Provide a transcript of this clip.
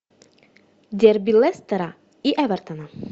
дерби лестера и эвертона